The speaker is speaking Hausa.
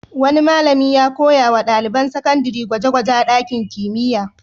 Wani malami ya koya wa ɗaliban sakandare gwaje-gwaje a ɗakin kimiyya.